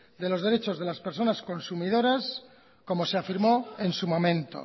de los derechos de las personas consumidoras como se afirmó en su momento